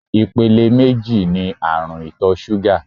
Ìpele méjì ní àrùn ìtọ̀ ṣúgà ní.